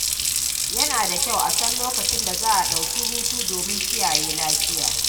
Yana da kyau a san lokacin da za a ɗauki hutu domin kiyaye lafiya.